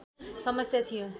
समस्या थियो